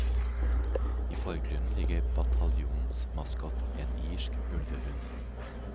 I forgrunnen ligger bataljonens maskot, en irsk ulvehund.